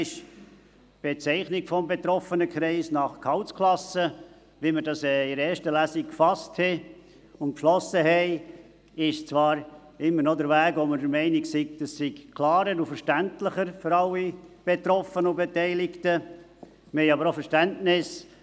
Die Bezeichnung des betroffenen Kreises nach Gehaltsklassen, wie wir das in erster Lesung beschlossen haben, ist zwar immer noch der Weg, von dem wir denken, er sei für alle Betroffenen und Beteiligten klarer und verständlicher.